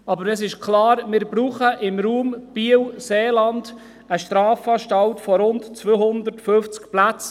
Aber es ist klar, wir brauchen im Raum Biel-Seeland eine Strafanstalt mit rund 250 Plätzen.